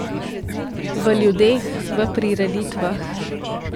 V ljudeh, v prireditvah.